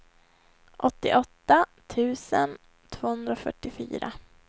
åttioåtta tusen tvåhundrafyrtiofyra